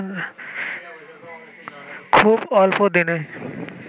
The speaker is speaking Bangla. খুব অল্পদিনেই